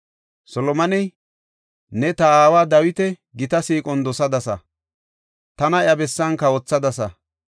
Solomoney, “Ne ta aawa Dawita gita siiqon dosadasa; tana iya bessan kawothadasa.